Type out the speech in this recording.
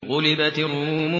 غُلِبَتِ الرُّومُ